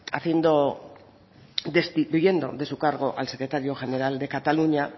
destituyendo de su cargo al secretario general de cataluña